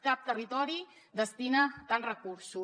cap territori hi destina tants recursos